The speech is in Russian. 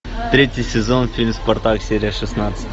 третий сезон фильм спартак серия шестнадцать